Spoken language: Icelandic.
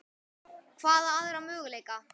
Hvaða aðra möguleika?